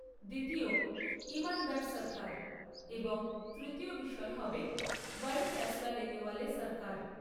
দ্বিতীয় ইমানদার সরকার এবং তৃতীয় বিষয় হবে বড়ে ফয়সালা লেনেওয়ালে সরকার।